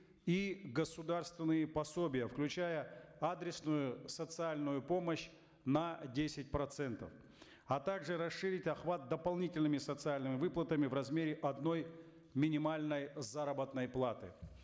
и государственные пособия включая адресную социальную помощь на десять процентов а также расширить охват дополнительными социальными выплатами в размере одной минимальной заработной платы